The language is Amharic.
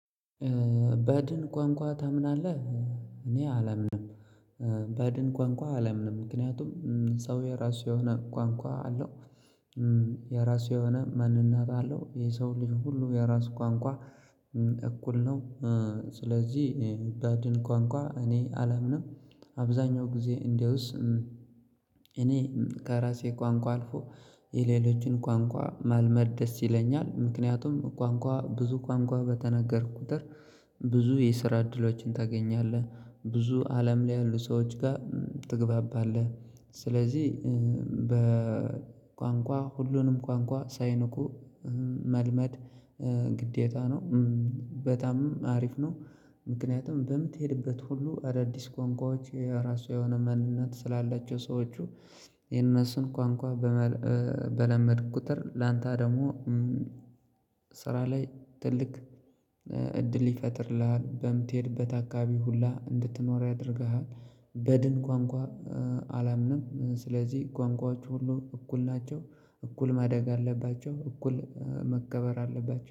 በድን ቋንቋ ታምናለህ? እኔ አላምንም። በድን ቋንቋ አላምንም። ምክንያቱም ሰው የራሱ የሆነ ቋንቋ አለው የራሱ የሆነ ማንነት አለው ይሄ ሰው ልጅ ሁሉ የራሱ ቋንቋ እኩል ነው። ስለዚህ በድን ቋንቋ እኔ አላምንም አብዛኛው ጊዜ እንደውስ እኔ ከራሴ ቋንቋ አልፎ የሌሎችን ቋንቋ ማልመድ ደስ ይለኛል ምክንያቱም ቋንቋ ብዙ ቋንቋ በተናገርኩት ቁጥር ብዙ የስራ እድሎችን ታገኛለህ ብዙ አለም ላይ ያሉ ሰዎች ጋር ትግባባለህ። ስለዚህ በቋንቋ ሁሉንም ቋንቋ ሳይንኩ መልመድ ግዴታ ነው በጣምም አሪፍ ነው። ምክንያቱም በምትሄድበት ሁሉ አዳዲስ ቋንቋዎች የራሱ የሆነ ማንነት ስላላቸው ሰዎች የነሱን ቋንቋ በለመድኩ ቁጥር ላንተ ደግሞ ስራ ላይ ትልቅ እድል ይፈጥርልሃል በምትሄድበት አካባቢ ሁላ እንድትኖር ያደርግሃል። በድን ቋንቋ አላምንም ስለዚህ ቋንቋዎች ሁሉ እኩል ናቸው እኩል ማደግ አለባቸው እኩል መከበር አለባቸው።